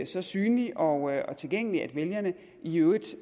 så synlige og tilgængelige at vælgerne i øvrigt